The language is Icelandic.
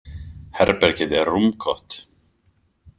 Herbergið er rúmgott.